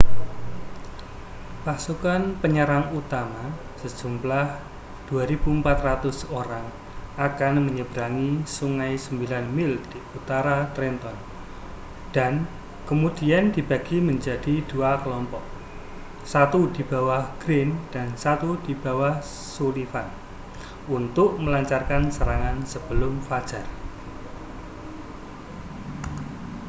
pasukan penyerang utama sejumlah 2.400 orang akan menyeberangi sungai sembilan mil di utara trenton dan kemudian dibagi menjadi dua kelompok satu di bawah greene dan satu di bawah sullivan untuk melancarkan serangan sebelum fajar